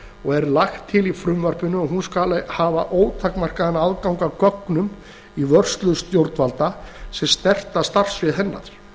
og er lagt til í frumvarpinu að hún skuli hafa ótakmarkaðan aðgang að gögnum í vörslu stjórnvalda sem snerta starfsvið hennar